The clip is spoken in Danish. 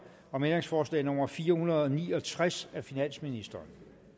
om ændringsforslag nummer fire hundrede og ni og tres af finansministeren